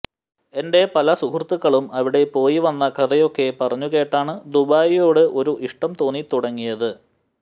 എന്റെ പല സുഹൃത്തുക്കളും അവിടെ പോയിവന്ന കഥയൊക്കെ പറഞ്ഞുകേട്ടാണ് ദുബായിയോട് ഒരു ഇഷ്ടം തോന്നിത്തുടങ്ങിയത്